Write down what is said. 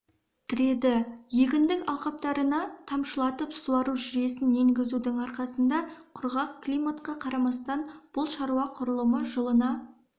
тіреді егіндік алқаптарына тамшылатып суару жүйесін енгізудің арқасында құрғақ климатқа қарамастан бұл шаруа құрылымы жылына